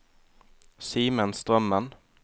Simen Strømmen